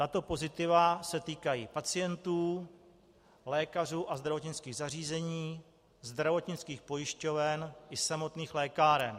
Tato pozitiva se týkají pacientů, lékařů a zdravotnických zařízení, zdravotnických pojišťoven i samotných lékáren.